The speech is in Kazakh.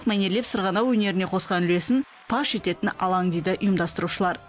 мәнерлеп сырғанау өнеріне қосқан үлесін паш ететін алаң дейді ұйымдастырушылар